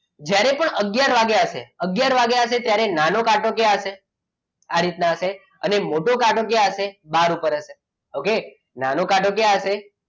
જ્યારે પણ આગયાર વાગ્યા હશે આગયાર વાગ્યા હશે ત્યારે નાનો કાંટો ક્યાં હશે? આ રીતના હશે અને મોટો કાંટો ક્યાં હશે બહાર ઉપર હશે ઓકે નાનો કાંટો ક્યાં હશે